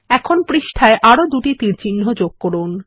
এখন পৃষ্ঠায় আরো দুটি তীরচিহ্ন যোগ করুন